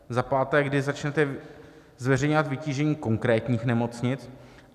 Za páté: Kdy začnete zveřejňovat vytížení konkrétních nemocnic?